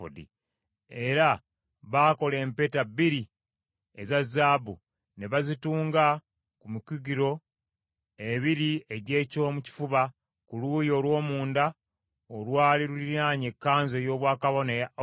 Era baakola empeta bbiri eza zaabu ne bazitunga ku mikugiro ebiri egy’ekyomu kifuba ku luuyi olw’omunda olwali luliraanye ekkanzu ey’obwakabona eya efodi.